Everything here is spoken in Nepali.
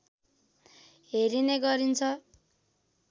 हेरिने गरिन्छ